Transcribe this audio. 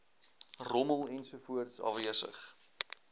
rommel ensovoorts afwesig